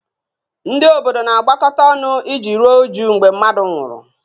Ndị obodo na-agbakọta ọnụ iji ruo újú mgbe mmadụ nwụrụ